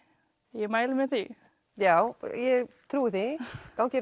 ég mæli með því já ég trúi því gangi